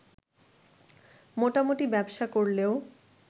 মোটামুটি ব্যবসা করলেও